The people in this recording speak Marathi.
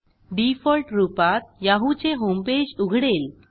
डिफॉल्ट रूपात याहू चे होमपेज उघडेल